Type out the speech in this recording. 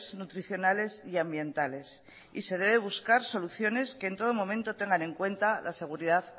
nutricionales y ambientales y se debe buscar soluciones que en todo momento tengan en cuenta la seguridad